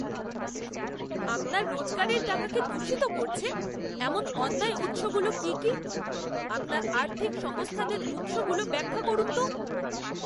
আপনার রোজগারের টাকাকে দূষিত করছে এমন অন্যায় উৎসগুলো কী কী? আপনার আর্থিক সংস্থানের উৎসগুলো ব্যাখ্যা করুন তো।